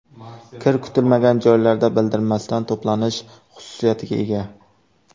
Kir kutilmagan joylarda bildirmasdan to‘planish xususiyatiga ega.